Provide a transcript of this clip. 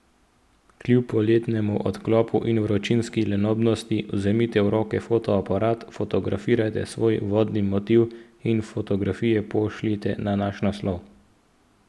Kljub poletnemu odklopu in vročinski lenobnosti vzemite v roke fotoaparat, fotografirajte svoj vodni motiv in fotografije pošljite na naš naslov.